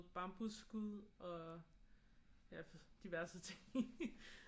Bambusskud og ja diverse ting i